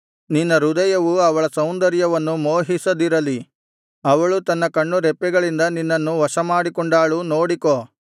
ನಿನ್ನ ಹೃದಯವು ಅವಳ ಸೌಂದರ್ಯವನ್ನು ಮೋಹಿಸದಿರಲಿ ಅವಳು ತನ್ನ ಕಣ್ಣುರೆಪ್ಪೆಗಳಿಂದ ನಿನ್ನನ್ನು ವಶಮಾಡಿಕೊಂಡಾಳು ನೋಡಿಕೋ